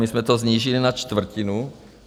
My jsme to snížili na čtvrtinu.